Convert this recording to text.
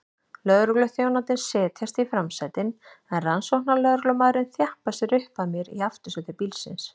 Lögregluþjónarnir setjast í framsætin en rannsóknarlögreglumaðurinn þjappar sér upp að mér í aftursæti bílsins.